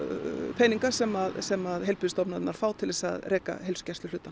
peninga sem sem að heilbrigðisstofnanir fá til að reka